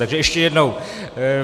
Takže ještě jednou.